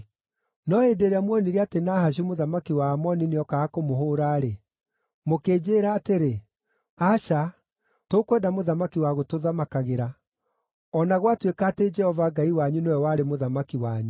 “No hĩndĩ ĩrĩa muonire atĩ Nahashu mũthamaki wa Amoni nĩookaga kũmũhũũra-rĩ, mũkĩnjĩĩra atĩrĩ, ‘Aca, tũkwenda mũthamaki wa gũtũthamakagĩra,’ o na gwatuĩka atĩ Jehova Ngai wanyu nĩwe warĩ mũthamaki wanyu.